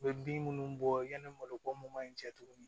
U bɛ bin minnu bɔ yanni malo ko mun ma ɲi cɛ tuguni